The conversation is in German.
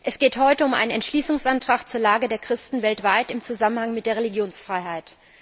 Es geht heute um einen Entschließungsantrag zur Lage der Christen weltweit im Zusammenhang mit der Religionsfreiheit.